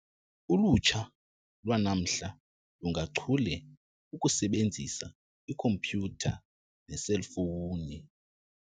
Ulutsha lwanamhla lungachule ukusebenzisa ikhompyutha neeselfowuni.